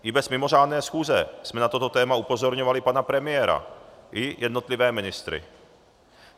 I bez mimořádné schůze jsme na toto téma upozorňovali pana premiéra i jednotlivé ministry.